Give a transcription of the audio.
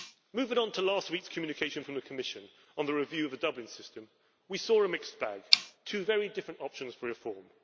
Moving on to last week's communication from the Commission on the review of the Dublin system, we saw a mixed bag two very different options for reform.